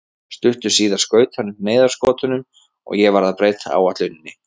Stuttu síðar skaut hann upp neyðarskotunum og ég varð að breyta áætluninni.